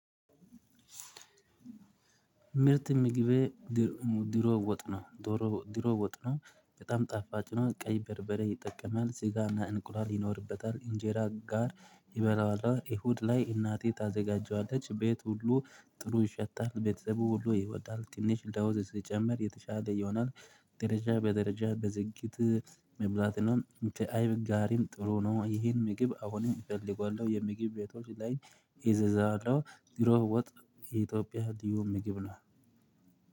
ምርት ምግቤ ድሮ ወጥ ነው። ድሮ ወጥ ነው። በጣም ጣፋጭ ነው ቀይ በርበሬ ይጠቀማል ስጋና እንቁላል ይኖርበታል ኢንጄራ ጋር ይበላዋለው። እሁድ ላይ እናቴ ታዘጋጀዋለች ቤት ሁሉ ጥሩ ይሸታል። ቤተሰቡ ሁሉ ይወዳል ትንሽ ለውዝ ሲጨመር የተሻለ ይሆናል። ደረጃ በደረጃ በዝግት መብላት ነው ከአይብ ጋሪም ጥሩ ነው። ይሄን ምግብ አሁን እፈልገዋለሁ የምግብ ቤቶች ላይ እዘዛለሁ። ድሮ ወጥ የኢጦጵያ ልዩ ምግብ ነው።